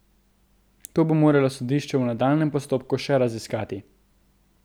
To bo moralo sodišče v nadaljnjem postopku še raziskati.